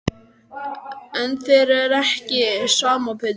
En þér er ekki sama Pétur.